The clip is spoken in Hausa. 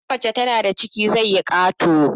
Idan mace tana da ciki ciki zai yi kato